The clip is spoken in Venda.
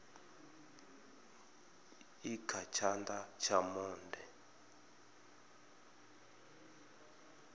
i kha tshana tsha monde